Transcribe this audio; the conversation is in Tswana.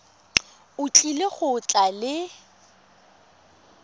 o tlile go tla le